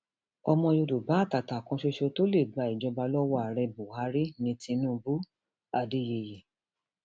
ọmọ yorùbá àtàtà kan ṣoṣo tó lè gba ìjọba lọwọ ààrẹ buhari ní tinubuadeyeyé